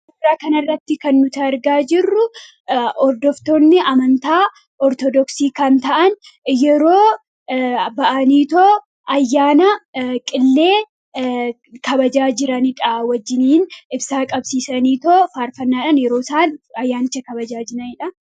suuraa kanarratti kan nuti argaa jirru hordoftoonni amantaa Ortodoksii kan ta'an yeroo bahanii ayyaana qillee kabajaa jiranidha wajjiniin ibsaa qabsiisanii yeroo isaan ayyaanicha kabajaa jiranidha.